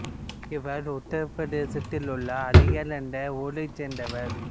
இவர் உத்தரப் பிரதேசத்தில் உள்ள அலிகார் என்ற ஊரைச் சேர்ந்தவர்